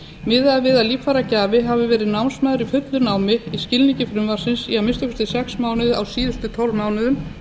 miðað er við að líffæragjafi hafi verið námsmaður í fullu námi í skilningi frumvarpsins í að minnsta kosti sex mánuði á síðustu tólf mánuðum